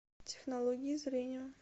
технологии зрения